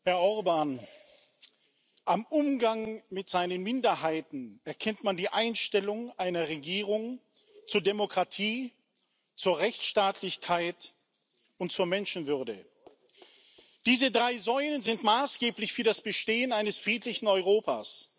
Herr Orbán! Am Umgang mit den Minderheiten erkennt man die Einstellung einer Regierung zur Demokratie, zur Rechtsstaatlichkeit und zur Menschenwürde. Diese drei Säulen sind maßgeblich für das Bestehen eines friedlichen Europas.